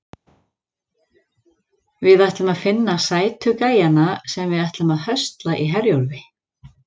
Við ætlum að finna sætu gæjana sem við ætlum að höstla í Herjólfi.